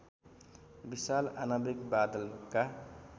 विशाल आणविक बादलका